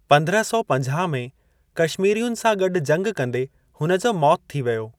पंद्रह सौ पंजाह में कश्मीरियुनि सां गॾु जंग कंदे हुन जो मौति थी वियो।